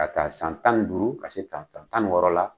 Ka taa san tan ni duuru, ka se tan tan tan ni wɔɔrɔ la